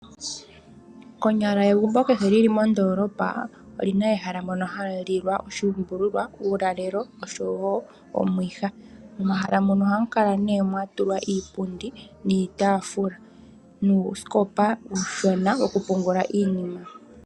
Konyala egumbo kehe lili mondoolopa oli na ehala mono hamu lilwa oshuumbululwa, uulalelo osho wo omwiha. Momahala muno ohamu kala nee mwa tulwa iipundi niitaafula, nuusikopa uushona woku pungula iinima.